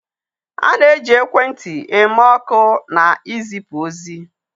A na-eji ekwentị eme oku na izipu ozi.